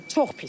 Çox pis.